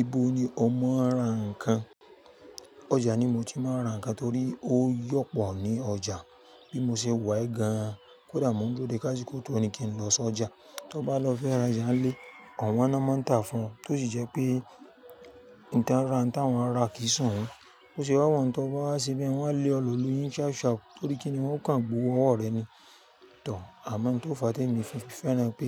Ibo ni o máa ń ra nǹkan? Ọjà ni mo ti máa ń ra nǹkan torí ó yọ̀pọ̀ ní ọjà. Bí mo ṣe wá yi gan-an, kódà mo ń dúró dé káṣíkò tó ní kí n lọ sọjà, tó bá lọ fẹ́ ra jàá nlé, owọn ná máa ń tàá fún ọ, tó sì jẹ́ pé nǹkan ra nǹkan wọn ra kìí sowon. Bo ṣe wá wọ́n un tó bá wá sebi, wọ́n á lé ọ lù lu yin ṣapú ṣapú torí kí ni wọ́n kàn gbowó ọwọ́ rẹ ní too, àwọ́n ohun tó fa temi ofifẹ́ràn wipé